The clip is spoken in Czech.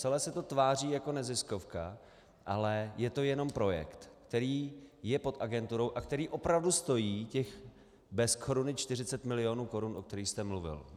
Celé se to tváří jako neziskovka, ale je to jenom projekt, který je pod agenturou a který opravdu stojí těch bez koruny 40 mil. korun, o kterých jste mluvil.